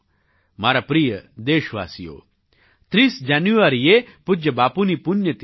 મારા પ્રિય દેશવાસીઓ 30 જાન્યુઆરીએ પૂજ્ય બાપુની પુણ્યતિથિ છે